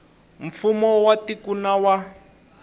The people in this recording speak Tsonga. mfumo wa tiko na wa